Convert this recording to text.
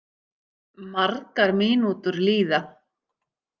Margar mínútur líða.